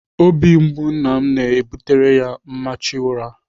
Obi mgbu nna m na-ebutere ya mmechu ụra.